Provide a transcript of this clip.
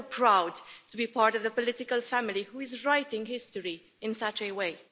I'm so proud to be part of the political family who is writing history in such a way.